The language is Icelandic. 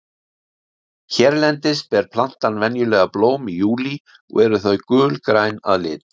Hérlendis ber plantan venjulega blóm í júlí og eru þau gulgræn að lit.